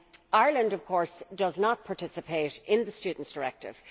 Ireland, of course, does not participate in the Students' Directive.